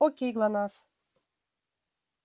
окей глонассс